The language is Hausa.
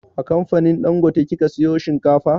A kamfanin dangote kika sayo shinkafa?